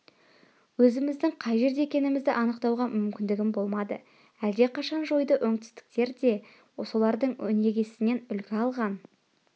өзіміздің қай жерде екенімізді анықтауға мүмкіндігім болмады әлдеқашан жойды оңтүстіктер де солардың өнегесінен үлгі алған